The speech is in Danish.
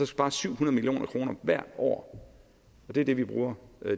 spares syv hundrede million kroner hvert år og det er det vi bruger